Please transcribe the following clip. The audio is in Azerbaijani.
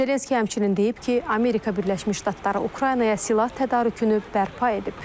Zelenski həmçinin deyib ki, Amerika Birləşmiş Ştatları Ukraynaya silah tədarükünü bərpa edib.